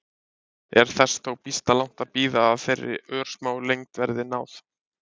Er þess þó býsna langt að bíða að þeirri örsmáu lengd verði náð.